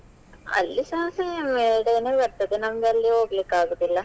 ಅಲ್ಲಿಸಾ same a day ನೇ ಬರ್ತದೆ ನಮ್ಗಲ್ಲಿ ಹೋಗ್ಲಿಕ್ಕೆ ಆಗುದಿಲ್ಲ.